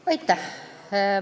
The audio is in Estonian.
Aitäh!